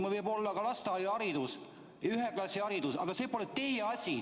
Mul võib olla ka lasteaiaharidus, üheklassiline haridus, see pole teie asi.